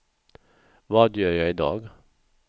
vad gör jag idag